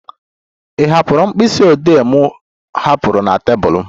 Ị hụla mkpịsị odee m hapụrụ na tebụl m?